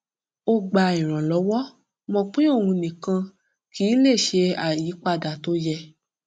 ó gba ìrànlọwọ mọ pé òun nikan kì í lè ṣe àyípadà tó yẹ